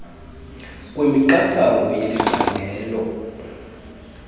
kwemiqathango yeli candelo